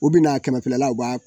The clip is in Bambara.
U bɛna kɛmɛfilala u b'a